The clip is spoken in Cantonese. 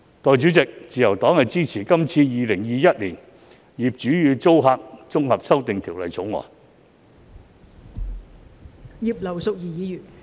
代理主席，我發言代表新民黨支持《2021年業主與租客條例草案》。